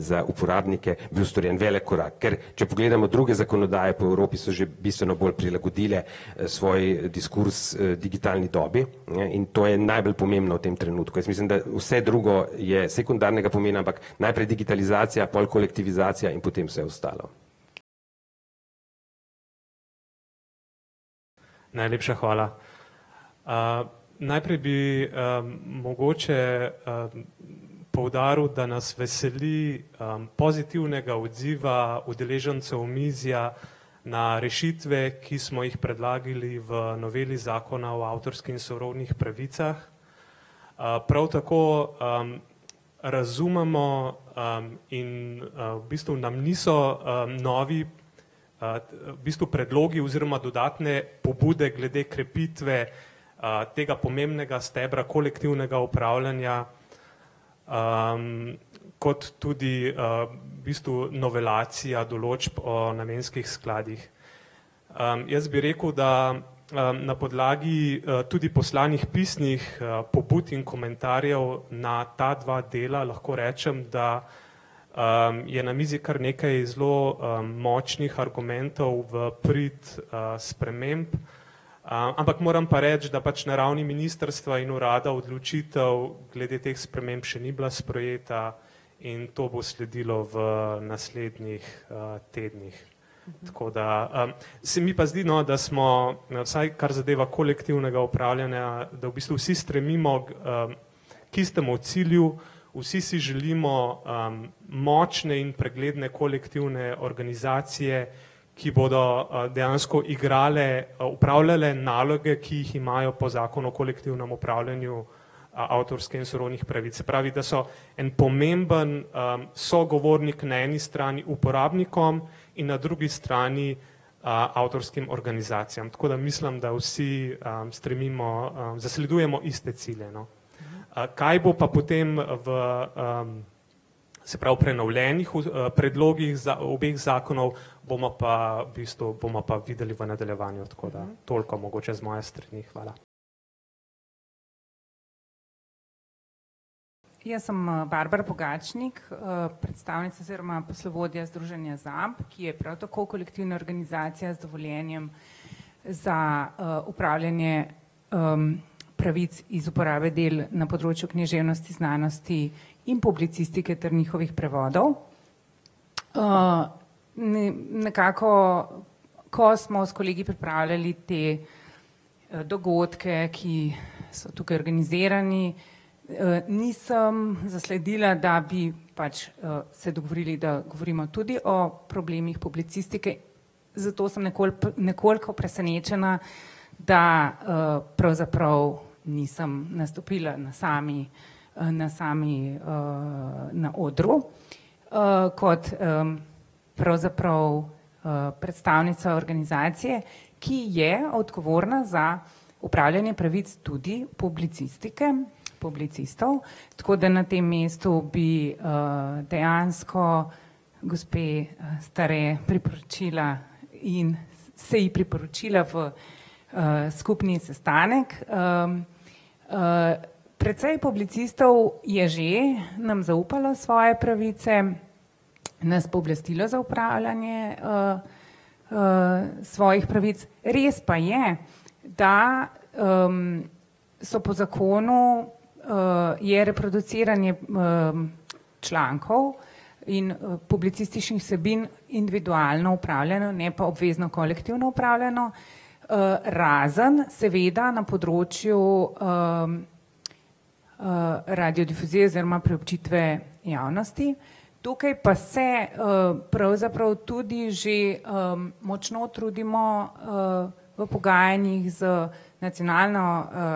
za uporabnike bil storjen en velik korak, ker če pogledamo druge zakonodaje po Evropi, so že bistveno bolj prilagodile, svoj diskurz, digitalni dobi, ne, in to je najbolj pomembno v tem trenutku, jaz mislim, da vse drugo je sekundarnega pomena, ampak najprej digitalizacija, pol kolektivizacija in potem vse ostalo. Najlepša hvala. najprej bi, mogoče, poudaril, da nas veseli, pozitivnega odziva udeležencev omizja na rešitve, ki smo jih predlagali v noveli zakona o avtorskih in sorodnih pravicah. prav tako, razumemo, in, v bistvu nam niso, novi, v bistvu predlogi oziroma dodatne pobude glede krepitve, tega pomembnega stebra kolektivnega upravljanja, kot tudi, v bistvu novelacija določb o namenskih skladih. jaz bi rekel, da, na podlagi, tudi poslanih pisnih, pobud in komentarjev na ta dva dela, lahko rečem, da, je na mizi kar nekaj zelo, močnih argumentov v prid, sprememb, ampak moram pa reči, da pač na ravni ministrstva in urada odločitev glede teh sprememb še ni bila sprejeta in to bo sledilo v naslednjih, tednih. Tako da, se mi pa zdi, no, da smo, vsaj, kar zadeva kolektivnega upravljanja, da v bistvu vsi stremimo, k istemu cilju, vsi si želimo, močne in pregledne kolektivne organizacije, ki bodo, dejansko igrale, opravljale naloge, ki jih imajo po zakonu o kolektivnem upravljanju, avtorske in sorodnih pravic, se pravi, da so en pomemben sogovornik na eni strani uporabnikom in na drugi strani, avtorskim organizacijam, tako da mislim, da vsi, stremimo, zasledujemo iste cilje, no. kaj bo pa potem v, se pravi prenovljenih predlogih za obeh zakonov, bomo pa v bistvu, bomo pa videli v nadaljevanju, tako da, toliko mogoče z moje strani. Hvala. Jaz sem Barbara Pogačnik, predstavnica oziroma poslovodja združenja ZAP, ki je prav tako kolektivna organizacija z dovoljenjem za, upravljanje, pravic iz uporabe del na področju književnosti, znanosti in publicistike ter njihovih prevodov. nekako, ko smo s kolegi pripravljali te, dogodke, ki so tukaj organizirani, nisem zasledila, da bi pač, se dogovorili, da govorimo tudi o problemih publicistike, zato sem nekoliko presenečena, da, pravzaprav nisem nastopila na sami, na sami, na odru, kot, pravzaprav, predstavnica organizacije, ki je odgovorna za upravljanje pravic tudi publicistike in publicistov, tako da na tem mestu bi, dejansko gospe Stare priporočila in se ji priporočila v, skupni sestanek, precej publicistov je že nam zaupalo svoje pravice, nas pooblastilo za upravljanje, svojih pravic. Res pa je, da, so po zakonu, je reproduciranje, člankov in, publicističnih vsebin, individualno upravljano, ne pa obvezno kolektivno upravljano, razen seveda na področju, radiodifuzije oziroma preučitve javnosti. Tukaj pa se, pravzaprav tudi že, močno trudimo, v pogajanjih z nacionalno,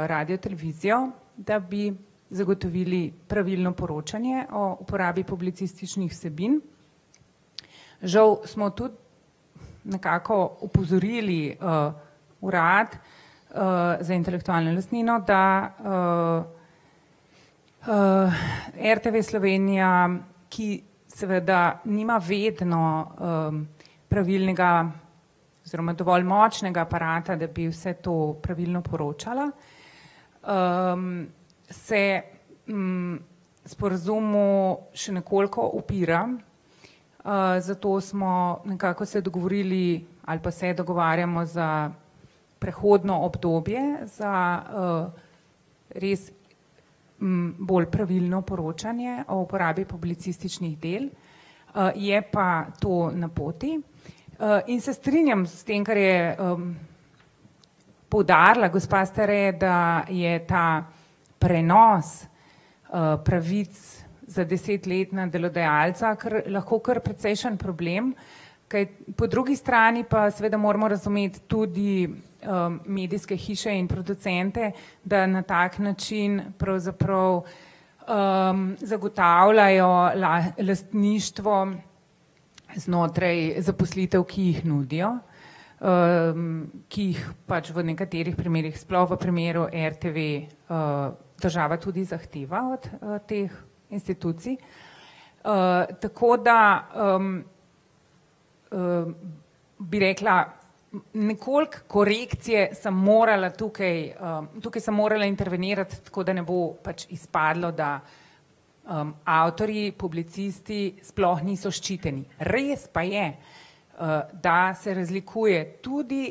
radiotelevizijo, da bi zagotovili pravilno poročanje o uporabi publicističnih vsebin. Žal smo tudi nekako opozorili, urad, za intelektualno lastnino, da, RTV Slovenija, ki seveda nima vedno, pravilnega oziroma dovolj močnega aparata, da bi vse to pravilno poročala, se, sporazumu še nekoliko upira, zato smo nekako se dogovorili ali pa se dogovarjamo za prehodno obdobje, za, res, bolj pravilno poročanje o uporabi publicističnih del. je pa to na poti, in se strinjam s tem, kar je, poudarila gospa Stare, da je ta prenos, pravic za deset let na delodajalca kar, lahko kar precejšen problem. Kaj po drugi strani seveda moramo razumeti tudi, medijske hiše in producente, da na tak način pravzaprav, zagotavljajo lastništvo znotraj zaposlitev, ki jih nudijo, ki jih pač v nekaterih primerih sploh v primeru RTV, država tudi zahteva od teh institucij, tako da, bi rekla, nekoliko korekcije sem morala tukaj, tukaj sem morala intervenirati, tako da ne bo pač izpadlo, da, avtorji, publicisti sploh niso ščiteni. Res pa je, da se razlikuje tudi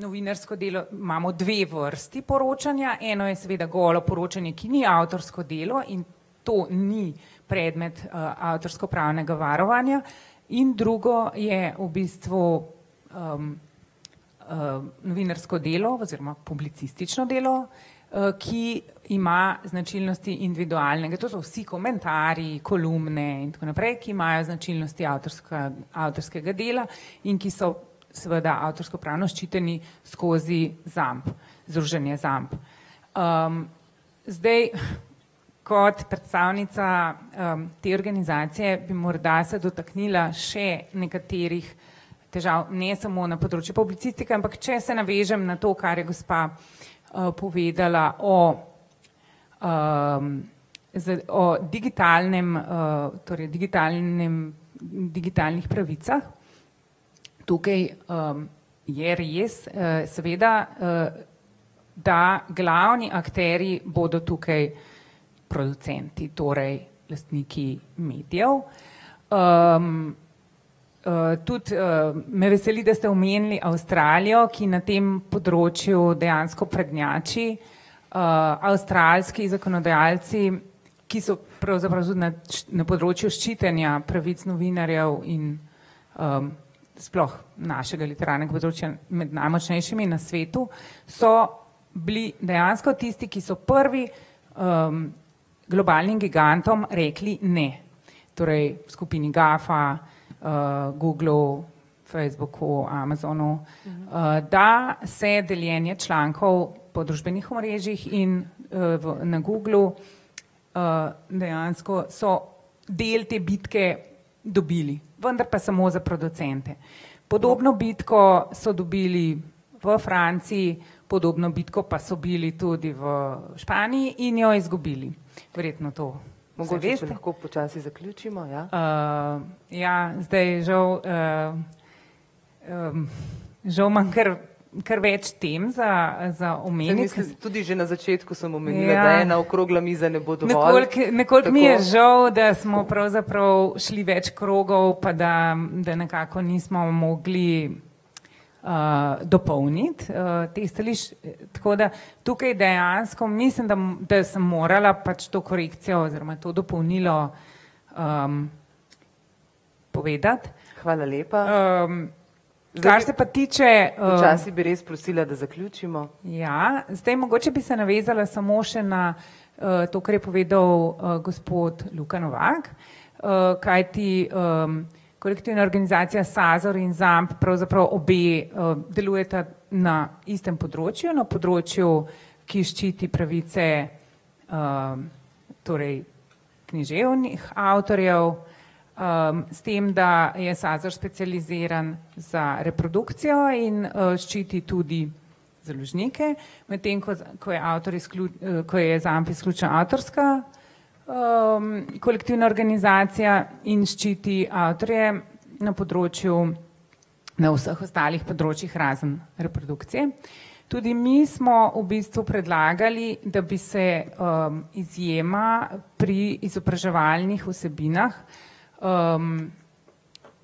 novinarsko delo, imamo dve vrsti poročanja, eno je seveda golo poročanje, ki ni avtorsko delo in to ni predmet, avtorskopravnega varovanja, in drugo je v bistvu, novinarsko delo oziroma publicistično delo, ki ima značilnosti individualnega, tudi vsi komentarji, kolumne in tako naprej, ki imajo značilnosti avtorskega dela in ki so seveda avtorskopravno ščiteni skozi ZAP, Združenje ZAP. zdaj kot predstavnica, te organizacije bi morda se dotaknila še nekaterih težav, ne samo na področju publicistike, ampak če se navežem na to, kar je gospa, povedala o, z o digitalnem, torej digitalnem, digitalnih pravicah, tukaj, je res, seveda, da glavni akterji bodo tukaj producenti, torej lastniki medijev. tudi, me veseli, da ste omenili Avstralijo, ki na tem področju dejansko prednjači, avstralski zakonodajalci, ki so pravzaprav tudi na na področju ščitenja pravic novinarjev in, sploh našega literarnega področja med najmočnejšimi na svetu, so bili dejansko tisti, ki so prvi, globalnim gigantom rekli: "Ne." Torej skupini GAFA, Googlu, Facebooku, Amazonu, da se deljenje člankov po družbenih omrežjih in, v, na Googlu, dejansko so del te bitke dobili, vendar pa samo za producente. Podobno bitko so dobili v Franciji, podobno bitko pa so bili tudi v Španiji in jo izgubili. Verjetno to, ja, zdaj žal, žal imam kar, kar več tem za, za omeniti . Nekoliko mi je žal, da smo pravzaprav šli več krogov pa, da, da nekako nismo mogli, dopolniti, te tako da tukaj dejansko mislim, da, da sem morala pač to korekcijo oziroma to dopolnilo, povedati. Kar se pa tiče, ... Ja, zdaj mogoče bi se navezala samo še na, to, kar je povedal, gospod Luka Novak, kajti, kolektivna organizacija Sazor in ZAMP, pravzaprav obe, delujeta na istem področju na področju, ki ščiti pravice, torej književnih avtorjev, s tem, da je Sazor specializiran za reprodukcijo in, ščiti tudi založnike, medtem ko je avtor ko je Zamp izključno avtorska, kolektivna organizacija in ščiti avtorje na področju, na vseh ostalih področjih razen reprodukcije. Tudi mi smo v bistvu predlagali, da bi se, izjema pri izobraževalnih vsebinah,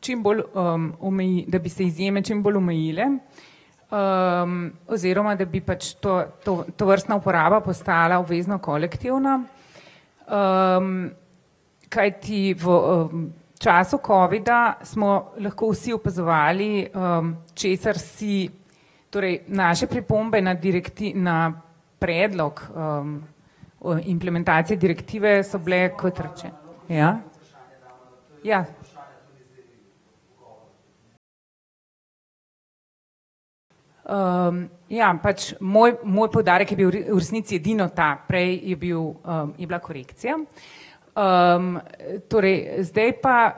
čimbolj, da bi se izjeme čimbolj omejile, oziroma, da bi pač to, to, tovrstna uporaba postala obvezno kolektivna, kajti v, času covida smo lahko vsi opazovali, česar si torej naše pripombe nad na predlog, implementacije direktive so bile, ko ja. Ja. ja, pač moj, moj poudarek je bil v v resnici edino ta, prej je bil, je bila korekcija. torej zdaj pa,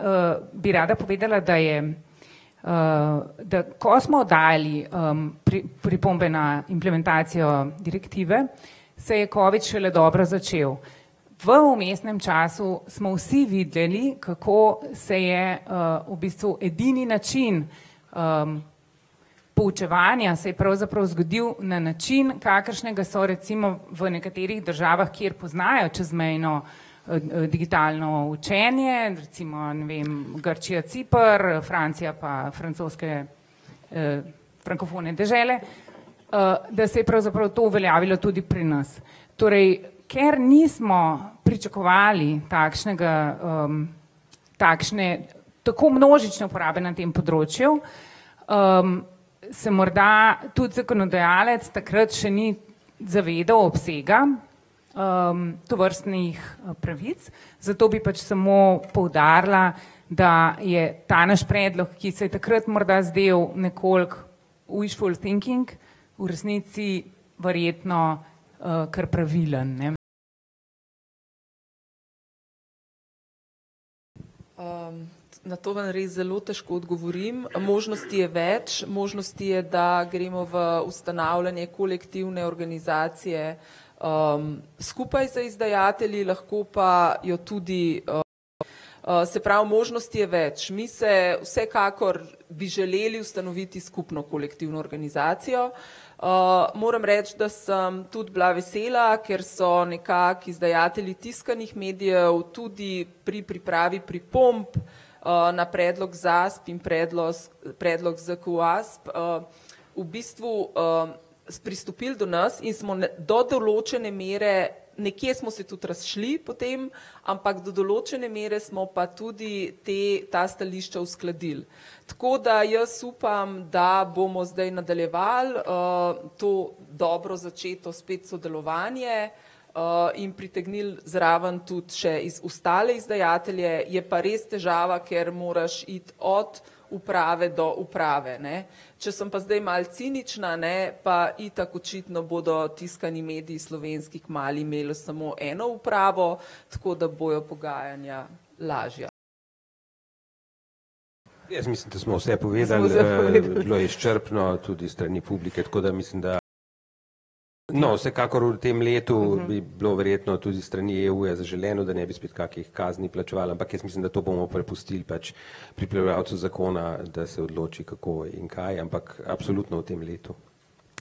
bi rada povedala, da je, da ko smo dali, pripombe na implementacijo direktive, se je covid šele dobro začel. V vmesnem času smo vsi videli, kako se je, v bistvu edini način, poučevanja se je pravzaprav zgodil na način, kakršnega so recimo v nekaterih državah, kjer poznajo čezmejno, digitalno učenje, recimo, ne vem, Grčija, Ciper, Francija pa francoske, frankofone dežele, da se je pravzaprav to uveljavilo tudi pri nas. Torej, ker nismo pričakovali takšnega, takšne, tako množične uporabe na tem področju, se morda tudi zakonodajalec takrat še ni zavedal obsega, tovrstnih, pravic. Zato bi pač samo poudarila, da je ta naš predlog, ki se je takrat morda zdel nekoliko wishful thinking v resnici verjetno, kar pravilen, ne. na to vam res zelo težko odgovorim, možnosti je več, možnosti je, da gremo v ustanavljanje kolektivne organizacije, skupaj z izdajatelji, lahko pa jo tudi, se pravi, možnosti je več. Mi se vsekakor bi želeli ustanoviti skupno kolektivno organizacijo. moram reči, da sem tudi bila vesela, ker so nekako izdajatelji tiskanih medijev tudi pri pripravi pripomb, na predlog ZAS in predlos, predlog ZKUAS, v bistvu, so pristopili do nas in smo do določene mere nekje smo se tudi razšli potem, ampak do določene mere smo pa tudi te, ta stališča uskladili. Tako da jaz upam, da bomo zdaj nadaljevali, to dobro začeto spet sodelovanje, in pritegnili zraven tudi še ostale izdajatelje, je pa res težava, ker moraš iti od uprave do uprave, ne. Če sem pa zdaj malo cinična, a ne, pa itak očitno bodo tiskani mediji slovenski kmalu imeli samo eno upravo, tako da bojo pogajanja lažja. Jaz mislim, da smo vse povedali, bilo je izčrpno tudi s strani publike, tako da mislim, da ... No, vsekakor v tem letu bi bilo verjetno tudi s strani EU-ja zaželeno, da ne bi spet kakih kazni plačevali, ampak jaz mislim, da to bomo prepustili pač pripravljalcu zakona, da se odloči, kako in kaj, ampak absolutno v tem letu.